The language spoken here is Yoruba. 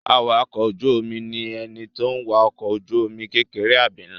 Awakọ̀ ojú-omi ni ẹni tó n wa ọkọ̀ ojú-omi kékeré àbí nlá